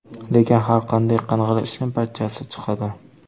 Lekin, har qanday qing‘ir ishning parchasi chiqadi.